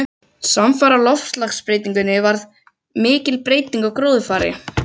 Samfara loftslagsbreytingunni varð og mikil breyting á gróðurfari.